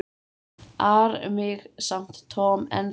ar mig samt Tom ennþá.